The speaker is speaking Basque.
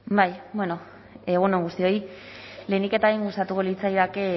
egun on guztioi lehenik eta behin gustatuko litzaidake